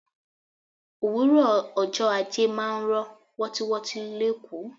Òwúrò ọjọ́ ajé máa ń rọ wotiwoti l'ekoo.